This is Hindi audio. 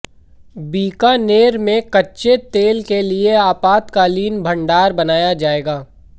बीकानेर में कच्चे तेल के लिए आपातकालीन भंडार बनाया जाएगा